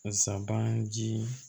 Sabanan ji